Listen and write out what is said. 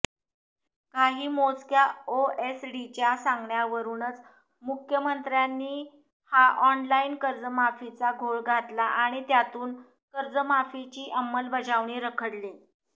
काही मोजक्या ओएसडींच्या सांगण्यावरूनच मुख्यमंत्र्यांनी हा ऑनलाईन कर्जमाफीचा घोळ घातला आणि त्यातून कर्जमाफीची अंमलबजावणी रखडली